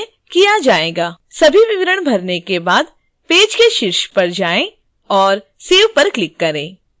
सभी विवरण भरने के बाद पेज के शीर्ष पर जाएं और save पर क्लिक करें